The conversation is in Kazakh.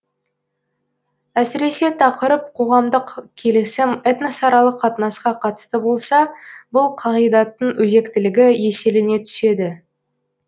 әсіресе тақырып қоғамдық келісім этносаралық қатынасқа қатысты болса бұл қағидаттың өзектілігі еселене түседі